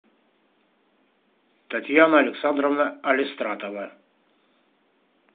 татьяна александровна алистратова